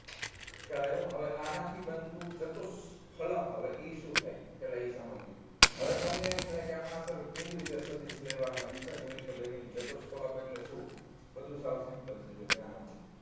ખ્યાલ આવ્યો હવે આનાથી બનતું ચતુઃ સ્થળક હવે ઇ શું થાઈ એ પેલા આ જાણી લયે હવે તમને એમ થાય કે આમાં અંદર કેવી રીતે સદિશ લેવા અને દિશા કેવી રીતે લેવી અને ચતુઃ સ્થળક એટલે શું બધું સાવ simple છે જોવો ધ્યાન આપો